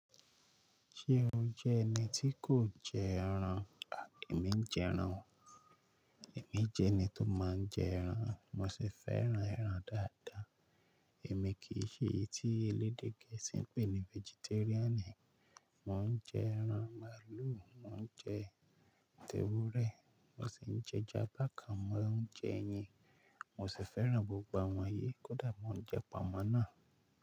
Ṣé o jẹ́ ẹni tí kò jẹ ẹran? Emi ń jẹ ẹran o. Èmi jẹ́ ẹni tó máa ń jẹ ẹran, mo sì fẹ́ran ẹran dáadáa. Èmi kì í ṣe èyí tí elédè gẹ̀ẹ́sì ń pè ní vegetarian. Mo ń jẹ ẹran màálù, mo ń jẹ tẹ̀wúrẹ́, mo sì ń jẹ eja bakan, mo ń jẹ ẹyin. Mo sì fẹ́ran gbogbo àwọn yí, kódà mo ń jẹ pamọ́ náà.